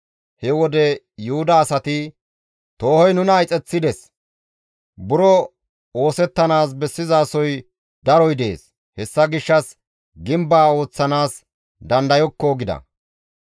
He wode Yuhuda asati, «Toohoy nuna ixeththides; buro oosettanaas bessizasoy daroy dees; hessa gishshas gimbeza ooththanaas dandayokko» gida.